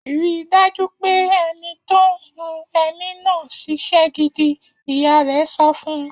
Rí dájú pé ẹni tó ń hun ẹní náà ṣiṣẹ́ gidi! Ìyá rẹ̀ sọ fún un.